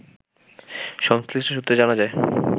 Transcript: সংশ্লিষ্ট সূত্রে জানা যায়